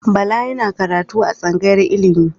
Bala yana karatu a tsangayar ilimi.